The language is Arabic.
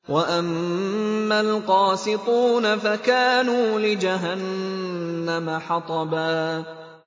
وَأَمَّا الْقَاسِطُونَ فَكَانُوا لِجَهَنَّمَ حَطَبًا